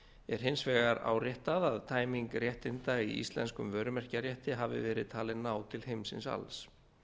er hins vegar áréttað að tæming réttinda í íslenskum vörumerkjarétti hafi verið talin ná til heimsins alls